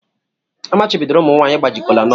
Amachibidoro ụmụ nwanyị ịgbaji kolanut.